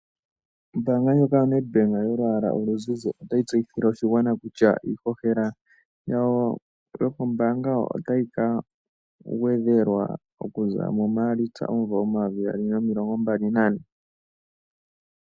Ombaanga yoNEDBANK yolwaala oluzizi otayi tseyithile oshigwana kutya iishoshela yawo yombaanga otayi kangwedhelwa oku za mugane gaMaalitsa 2024.